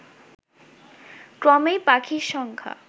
ক্রমেই পাখির সংখ্যা